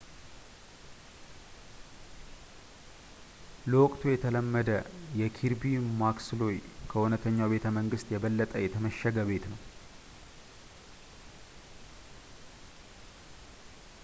ለወቅቱ የተለመደ የኪርቢ ማክስሎይ ከእውነተኛው ቤተመንግስት የበለጠ የተመሸገ ቤት ነው